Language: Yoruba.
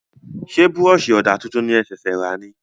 Ṣé búrọ̀sì ọ̀dà tuntun ní e ṣẹ̀sẹ̀ ra ní?